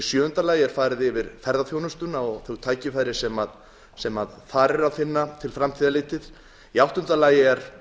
sjöunda farið er yfir ferðaþjónustuna og þau tækifæri sem þar er að finna til framtíðar litið áttunda vikið er